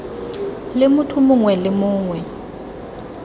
le motho mongwe le mongwe